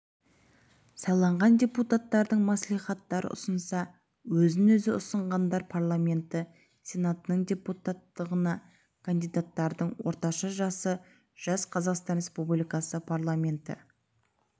сайланған депуттардың мәслихаттар ұсынса өзін-өзі ұсынғандар парламенті сенатының депутаттығына кандидаттардың орташа жасы жас қазақстан республикасы парламенті